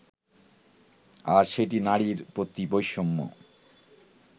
আর সেটিই নারীর প্রতি বৈষম্য